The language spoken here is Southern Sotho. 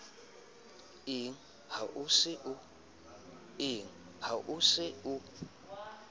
eng ha o se o